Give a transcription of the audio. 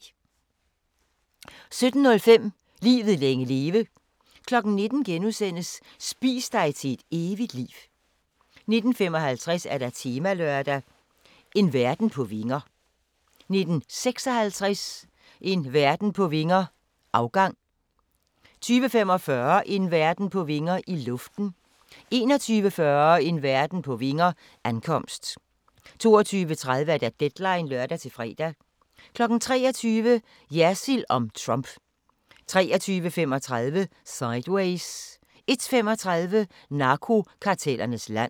17:05: Livet længe leve 19:00: Spis dig til et evigt liv * 19:55: Temalørdag: En verden på vinger 19:56: En verden på vinger - afgang 20:45: En verden på vinger – I luften 21:40: En verden på vinger – Ankomst 22:30: Deadline (lør-fre) 23:00: Jersild om Trump 23:35: Sideways 01:35: Narkokartellernes land